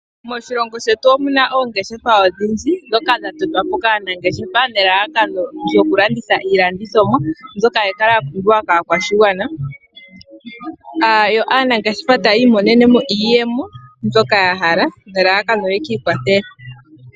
Moshilongo shetu omuna oongeshefa odhindji, ndhoka dha totwa po kaanangeshefa, nelalakano lyo kulanditha iilandithomwa mbyoka hayi kala ya pumbiwa kaakwashigwana. Yo aanangeshefa taya imonenemo iiyemo myoka ya hala, nelalakano lyokwiikwathela.